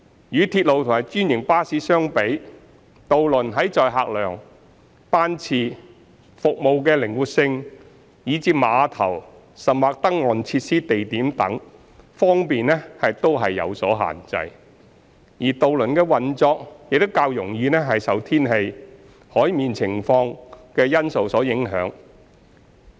與鐵路及專營巴士相比，渡輪在載客量、班次、服務靈活性以至碼頭或登岸設施地點等方面均有所限制，而渡輪的運作亦較容易受天氣、海面情況等因素影響。